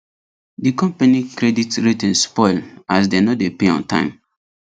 the company credit rating spoil as dem no dey pay on time